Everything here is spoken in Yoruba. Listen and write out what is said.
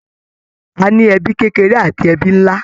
A ní ẹbí kékeré àti ẹbí nlá.